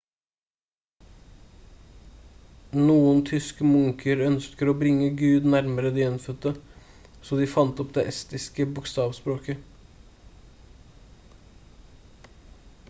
noen tyske munker ønsket å bringe gud nærmere de innfødte så de fant opp det estiske bokstavspråket